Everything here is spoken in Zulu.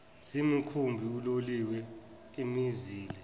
zemikhumbi uloliwe imizila